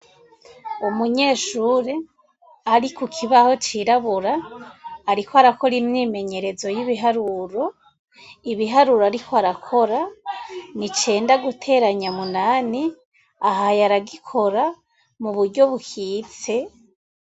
Umunyeshure ariku kibaho cirabura, ariko arakora imyimenyerezo y'ibiharuro ibiharuro, ariko arakora ni cenda guteranya munani ahaye aragikora mu buryo bukitse.